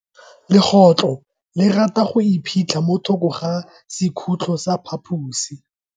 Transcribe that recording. Legotlo le rata go iphitlha mo thoko ga sekhutlo sa phaposi.